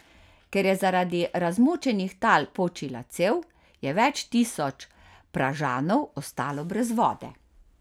Ker je zaradi razmočenih tal počila cev, je več tisoč Pražanov ostalo brez vode.